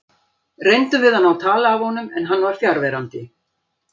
Reyndum við að ná tali af honum en hann var fjarverandi.